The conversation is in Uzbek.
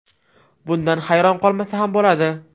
Bundan hayron qolmasa ham bo‘ladi.